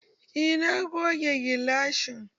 Eh, na goge gilashin